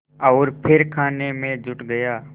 और फिर खाने में जुट गया